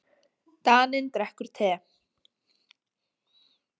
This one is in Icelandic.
Daninn drekkur te.